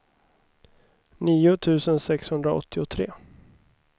nio tusen sexhundraåttiotre